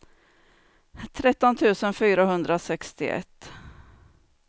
tretton tusen fyrahundrasextioett